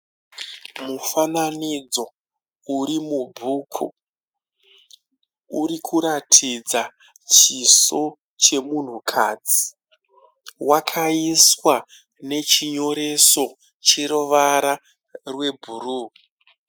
Mufananidzo uri mubhuku. Uri kuratidza chiso chemunhukadzi. Wakaiswa nechinyoreso cheruvara rwebhuruu.